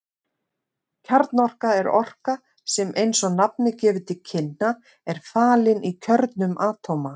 Kjarnorka er orka sem eins og nafnið gefur til kynna er falin í kjörnum atóma.